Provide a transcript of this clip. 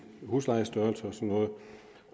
huslejestørrelse